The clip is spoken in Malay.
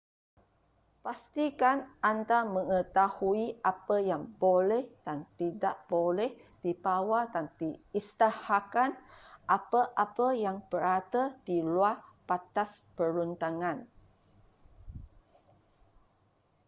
pastikan anda mengetahui apa yang boleh dan tidak boleh dibawa dan isytiharkan apa-apa yang berada di luar batas perundangan